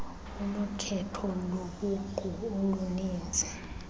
unokhetho lobuqu oluninzi